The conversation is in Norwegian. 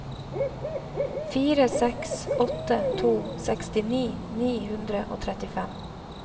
fire seks åtte to sekstini ni hundre og trettifem